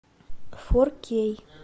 фор кей